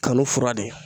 Kanu fura de ye